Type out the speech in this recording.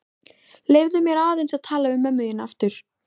Leyfðu mér aðeins að tala við mömmu þína aftur.